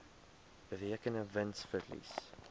berekende wins verlies